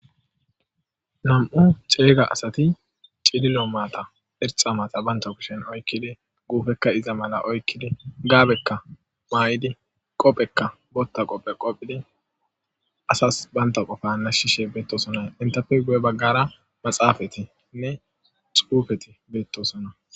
Nam'u ceega asati cililo maata irxxa maata banta kushen oyqidi guufekka iza mala oyqqidi gaabekka mayidi qophekka wontta qophe qophidi asas bantta qofa nashshishe beettosona. Enttappe guye baggara maaxafetinne xuufeti beettosona.